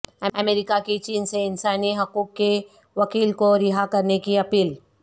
امریکہ کی چین سے انسانی حقوق کے وکیل کو رہا کرنے کی اپیل